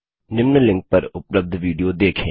निम्न लिंक पर उपलब्ध विडियो देखें